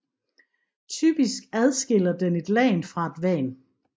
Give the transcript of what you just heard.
Typisk adskiller den et LAN fra et WAN